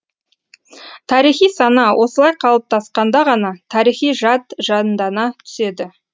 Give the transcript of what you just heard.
тарихи сана осылай қалыптасқанда ғана тарихи жад жандана түседі